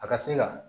A ka se ka